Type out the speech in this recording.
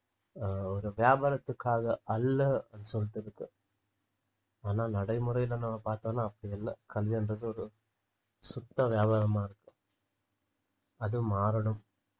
அஹ் ஒரு வியாபாரத்துக்காக அல்ல அப்படின்னு சொல்லிட்டு இருக்கு ஆனா நடைமுறையில நம்ம பார்த்தோம்னா அப்படி இல்லை கல்வின்றது ஒரு சுத்த வியாபாரமா இருக்கும் அது மாறணும்